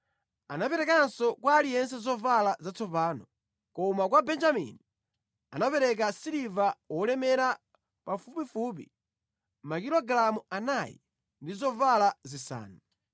Anaperekanso kwa aliyense zovala zatsopano, koma kwa Benjamini anapereka siliva wolemera pafupifupi makilogalamu anayi ndi zovala zisanu.